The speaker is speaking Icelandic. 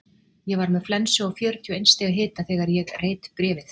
Ég var með flensu og fjörutíu og eins stigs hita þegar ég reit bréfið.